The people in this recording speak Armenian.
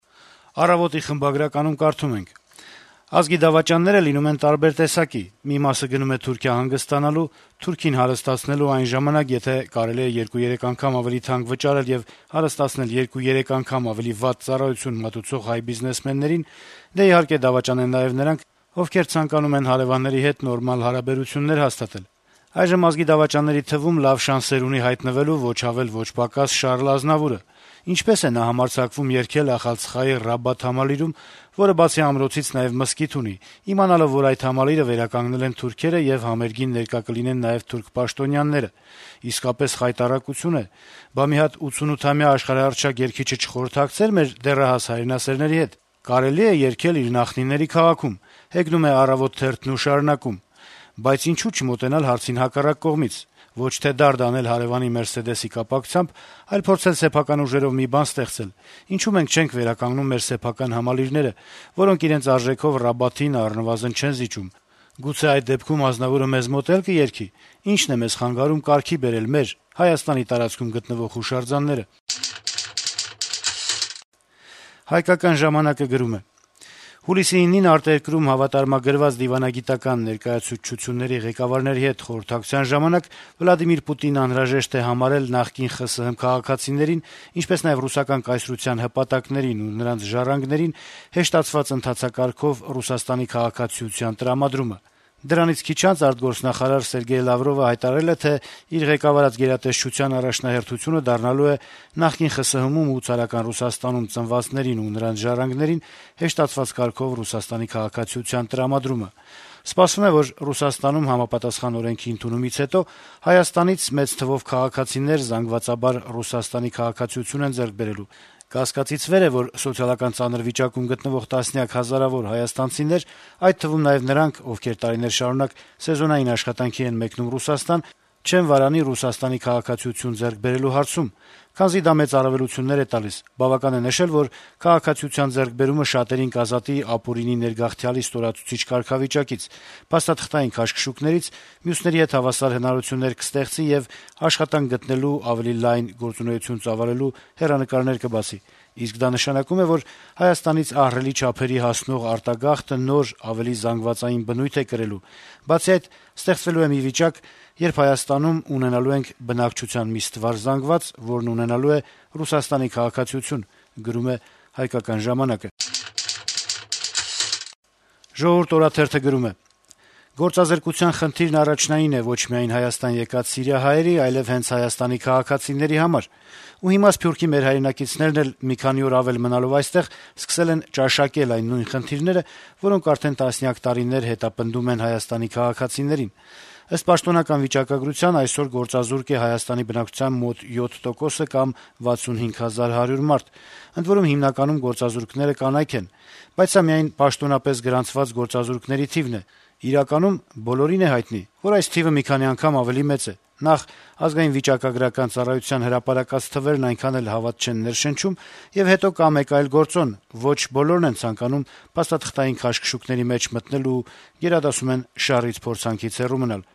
«Առավոտ»-ի խմբագրականում կարդում ենք. - «Ազգի դավաճանները լինում են տարբեր տեսակի: Մի մասը գնում է Թուրքիա հանգստանալու, թուրքին հարստացնելու այն ժամանակ, եթե կարելի է 2-3 անգամ ավելի թանկ վճարել եւ հարստացնել 2-3 անգամ ավելի վատ ծառայություն մատուցող հայ բիզնեսմեններին: Դե, իհարկե, դավաճան են նաեւ նրանք, ովքեր ցանկանում են հարեւանների հետ նորմալ հարաբերություններ հաստատել: Այժմ ազգի դավաճանների թվում լավ շանսեր ունի հայտնվելու ոչ ավելի, ոչ պակաս Շառլ Ազնավուրը: Ինչպե՞ս է նա համարձակվում երգել Ախալցխայի Ռաբաթ համալիրում, որը բացի ամրոցից նաեւ մզկիթ ունի` իմանալով, որ այդ համալիրը վերականգնել են թուրքերը եւ համերգին ներկա կլինեն նաեւ թուրք պաշտոնյաները: Իսկապես խայտառակություն է, բա՞ մի հատ 88-ամյա աշխարհահռչակ երգիչը չխորհրդակցեր մեր դեռահաս հայրենասերների հետ, կարելի՞ է երգել իր նախնիների քաղաքում: Բայց ինչո՞ւ չմոտենալ հարցին հակառակ կողմից: Ոչ թե դարդ անել հարեւանի «Մերսեդես»-ի կապակցությամբ, այլ փորձել սեփական ուժերով մի բան ստեղծել: Ինչո՞ւ մենք չենք վերականգնում մեր սեփական համալիրները, որոնք իրենց արժեքով Ռաբաթին առնվազն չեն զիջում: Գուցե այդ դեպքում Ազնավուրը մեզ մոտ էլ կերգի: Ի՞նչն է մեզ խանգարում կարգի բերել մեր` Հայաստանի տարածքում գտնվող հուշարձանները»: «Հայկական ժամանակ»-ը գրում է. - «Հուլիսի 9-ին արտերկրում հավատարմագրված դիվանագիտական ներկայացուցչությունների ղեկավարների հետ խորհրդակցության ժամանակ Պուտինն անհրաժեշտ է համարել նախկին ԽՍՀՄ քաղաքացիներին, ինչպես նաեւ Ռուսական կայսրության հպատակներին ու նրանց ժառանգներին հեշտացված ընթացակարգով ՌԴ քաղաքացիության տրամադրումը: Դրանից քիչ անց ԱԳ նախարար Սերգեյ Լավրովը հայտարարել է, թե իր ղեկավարած գերատեսչության առաջնահերթությունը դառնալու է նախկին ԽՍՀՄ-ում ու ցարական Ռուսաստանում ծնվածներին ու նրանց ժառանգներին հեշտացված կարգով ՌԴ քաղաքացիության տրամադրումը: Սպասվում է, որ Ռուսաստանում համապատասխան օրենքի ընդունումից հետո Հայաստանից մեծ թվով քաղաքացիներ զանգվածաբար ՌԴ քաղաքացիություն են ձեռք բերելու: Կասկածից վեր է, որ սոցիալական ծանր վիճակում գտնվող տասնյակ հազարավոր հայաստանցիներ, այդ թվում նաեւ նրանք, ովքեր տարիներ շարունակ սեզոնային աշխատանքի են մեկնում Ռուսաստան, չեն վարանի ՌԴ քաղաքացիություն ձեռք բերելու հարցում, քանզի դա մեծ առավելություններ է տալիս: Բավական է նշել, որ քաղաքացիության ձեռքբերումը շատերին կազատի ապօրինի ներգաղթյալի ստորացուցիչ կարգավիճակից, փաստաթղթային քաշքշուկներից, մյուսների հետ հավասար հնարավորություններ կստեղծի եւ աշխատանք գտնելու ու ավելի լայն գործունեություն ծավալելու հեռանկարներ կբացի: Իսկ դա նշանակում է, որ Հայաստանից ահռելի չափերի հասնող արտագաղթը նոր` ավելի զանգվածային բնույթ է կրելու: Բացի այդ, ստեղծվելու է մի վիճակ, երբ Հայաստանում ունենալու ենք բնակչության մի ստվար զանգված, որն ունենալու է ՌԴ քաղաքացիություն»: «Ժողովուրդ» օրաթերթը գրում է. - «Գործազրկության խնդիրն առաջնային է ոչ միայն Հայաստան եկած սիրիահայերի, այլեւ հենց Հայաստանի քաղաքացիների համար: Ու հիմա սփյուռքի մեր հայրենակիցներն էլ, մի քանի օր ավելի մնալով այստեղ, սկսել են «ճաշակել» այն նույն խնդիրները, որոնք արդեն տասնյակ տարիներ հետապնդում են Հայաստանի քաղաքացիներին: Ըստ պաշտոնական վիճակագրության` այսօր գործազուրկ է Հայաստանի բնակչության մոտ 7 տոկոսը կամ 65 հազար 100 մարդ: Ընդ որում, հիմնականում գործազուրկները կանայք են: Բայց սա միայն պաշտոնապես գրանցված գործազուրկների թիվն է: Իրականում, բոլորին է հայտնի, որ այս թիվը մի քանի անգամ ավելի մեծ է: Նախ` ԱՎԾ-ի հրապարակած թվերն այնքան էլ հավատ չեն ներշնչում, եւ հետո, կա մեկ այլ գործոն. ոչ բոլորն են ցանկանում փաստաթղթային քաշքշուկների մեջ մտնել ու գերադասում են «շառից-փորձանքից» հեռու մնալ»: